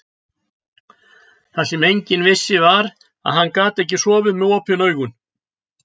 Það sem enginn vissi var, að hann gat sofið með OPIN AUGUN.